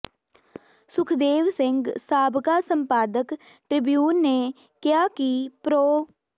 ਸੁਖਦੇਵ ਸਿੰਘ ਸਾਬਕਾ ਸੰਪਾਦਕ ਟ੍ਰਿਬਿਊਨ ਨੇ ਕਿਹਾ ਕਿ ਪ੍ਰੋ